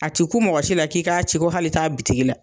A tɛ ku mɔgɔ si la k'i k'a ci cogo si hali kla taa bitigi la.